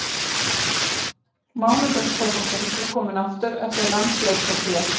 Mánudags fótboltinn er kominn aftur eftir landsleikjahlé.